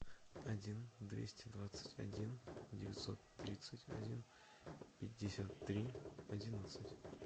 один двести двадцать один девятьсот тридцать один пятьдесят три одиннадцать